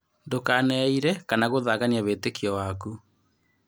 Ndũkaneire kana gũthangania wĩtĩkio waku.